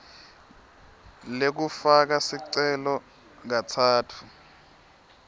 lekufaka sicelo katsatfu